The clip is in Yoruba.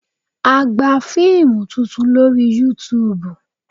A gba fíìmù tuntun lórí Yutuùbù